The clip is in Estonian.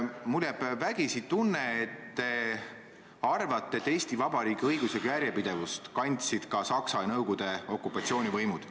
Mulle jääb vägisi tunne, et te arvate, et Eesti Vabariigi õiguslikku järjepidevust kandsid ka Saksa ja Nõukogude okupatsioonivõimud.